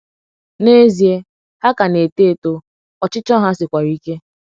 n'ezie, ha ka na - eto eto, ọchịchọ ha sikwara ike!